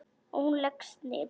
Og hún leggst niður.